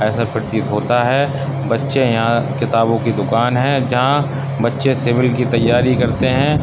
ऐसा प्रतीत होता है बच्चे यहां किताबों की दुकान है जहां बच्चे सिविल की तैयारी करते हैं।